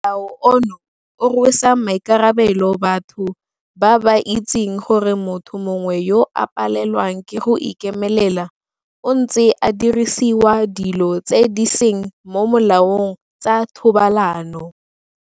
Molao ono gape o rwesa maikarabelo batho ba ba itseng gore motho mongwe yo a palelwang ke go ikemelela o ntse a dirisiwa dilo tse di seng mo molaong tsa thobalano.